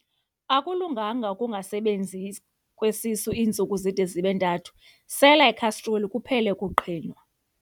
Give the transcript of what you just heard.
Akulunganga ukungasebenzi kwesisu iintsuku zide zibe ntathu, sela ikhastroli kuphele ukuqhinwa.